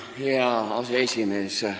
Hea aseesimees!